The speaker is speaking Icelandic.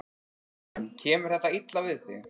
Karen: Kemur þetta illa við þig?